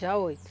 Já oito?